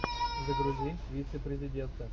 загрузи вице президента